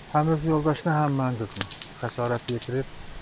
Həm öz yoldaşına, həm mənim qızıma xəsarət yetirib.